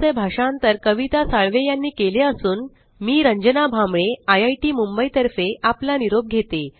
चे भाषांतर कविता साळवे यानी केले असून मी रंजना भांबळे आपला निरोप घेते